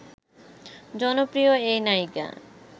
জনপ্রিয় এই নায়িকা